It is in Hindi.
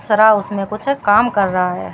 सरा उसमें कुछ काम कर रहा है।